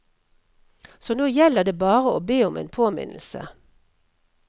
Så nå gjelder det bare å be om en påminnelse.